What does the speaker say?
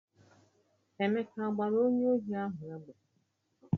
Emeka a gbara onye ohi ahụ egbe?